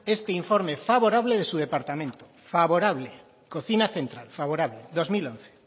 este informe favorable de su departamento favorable cocina central favorable dos mil once